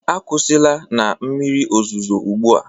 Akwụsịla na mmiri ozuzo ugbu a!